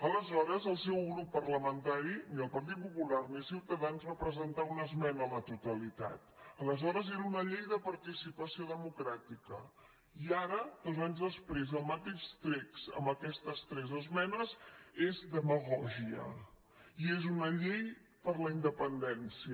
aleshores el seu grup parlamentari ni el partit popular ni ciutadans va presentar una esmena a la totalitat aleshores era una llei de participació democràtica i ara dos anys després el mateix text amb aquestes tres esmenes és demagògia i és una llei per la independència